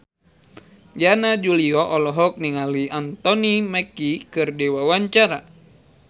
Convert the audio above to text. Yana Julio olohok ningali Anthony Mackie keur diwawancara